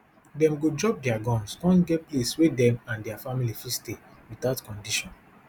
dem go drop dia guns kon get place wey dem and dia family fit stay witout condition